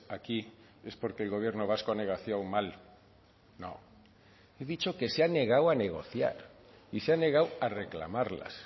aquí es porque el gobierno vasco ha negociado mal no he dicho que se ha negado a negociar y se ha negado a reclamarlas